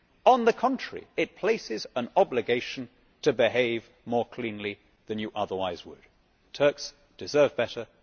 On the contrary, it places you under an obligation to behave more cleanly than you otherwise would. Turks deserve better